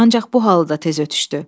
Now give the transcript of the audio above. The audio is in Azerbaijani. Ancaq bu halı da tez ötdüşdü.